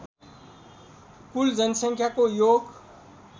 कुल सङ्ख्याको योग